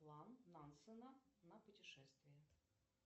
план нансена на путешествие